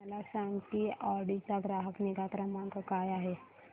मला सांग की ऑडी चा ग्राहक निगा क्रमांक काय आहे